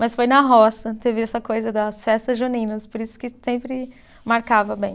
Mas foi na roça, teve essa coisa das festas juninas, por isso que sempre marcava bem.